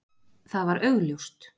Það var augljóst.